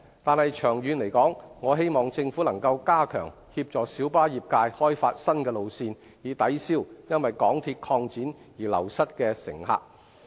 但是，長遠而言，我希望政府能加強協助小巴業界開發新路線，以抵銷因為港鐵擴展而流失的乘客。